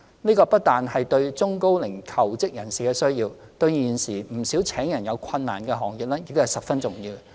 這不僅是中高齡求職人士的需要，對現時不少聘請人手有困難的行業亦十分重要。